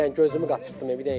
Bir dənə gözümü qaçırtdım, bir dənə.